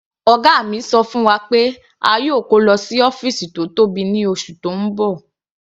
Ọ̀gá mi ṣọ fún wa pé a yóò kó lọ sí ọ́fìsì tó tóbi ní oṣù tó ń bọ̀.